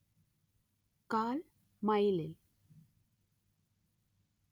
കാൽ മൈലിൽ